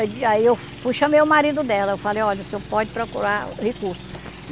Aí eu fui chamei o marido dela, eu falei, olha, o senhor pode procurar recurso.